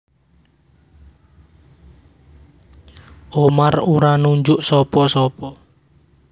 Umar ora nunjuk sapa sapa